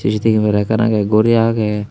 gitivi kamera ekkan agey guri agey.